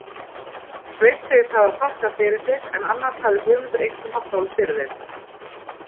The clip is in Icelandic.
Sveinn segist hafa þakkað fyrir sig, en annars hefði Guðmundur einkum haft orð fyrir þeim.